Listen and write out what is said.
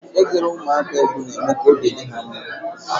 Ị gụrụ ụmụaka egwu na eme ka obi dị ha mma.